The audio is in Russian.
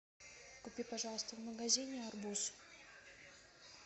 купи пожалуйста в магазине арбуз